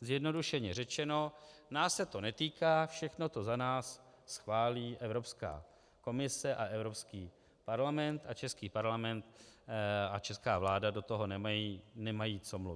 zjednodušeně řečeno, nás se to netýká, všechno to za nás schválí Evropská komise a Evropský parlament a český parlament a česká vláda do toho nemají co mluvit.